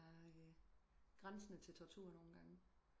Det er grænsende til tortur nogen gange